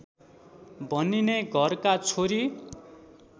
भनिने घरका छोरी